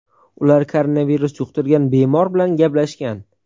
Ular koronavirus yuqtirgan bemor bilan gaplashgan.